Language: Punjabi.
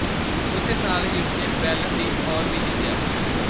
ਉਸੇ ਸਾਲ ਹੀ ਉਸਨੇ ਬੈਲਨ ਡੀ ਔਰ ਵੀ ਜਿੱਤਿਆ